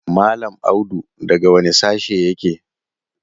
Mallam Audu daga wane sashe yake?